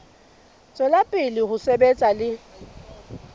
tswela pele ho sebetsa le